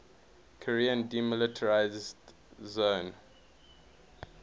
korean demilitarized zone